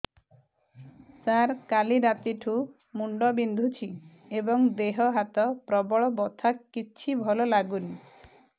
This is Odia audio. ସାର କାଲି ରାତିଠୁ ମୁଣ୍ଡ ବିନ୍ଧୁଛି ଏବଂ ଦେହ ହାତ ପ୍ରବଳ ବଥା କିଛି ଭଲ ଲାଗୁନି